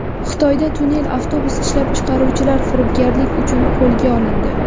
Xitoyda tunnel avtobus ishlab chiqaruvchilari firibgarlik uchun qo‘lga olindi.